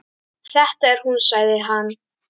Þetta er hún sagði hann.